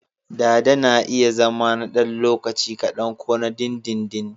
Dada na iya zama na ɗan lokaci kadan ko na dindindin.